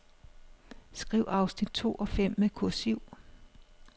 Skriv afsnit to og fem med kursiv.